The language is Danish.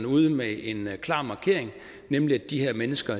ude med en klar markering nemlig at de her mennesker